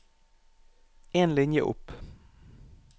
En linje opp